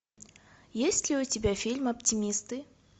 есть ли у тебя фильм оптимисты